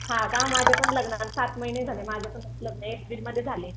हा का माझ्या पण लग्नाला सात महिने झाले माझं पण लग्न एप्रिलमध्ये झालय.